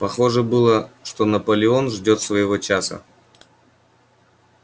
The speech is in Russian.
похоже было что наполеон ждёт своего часа